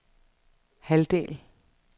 halvdel